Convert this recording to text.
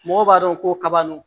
Mɔgɔw b'a dɔn ko kaba don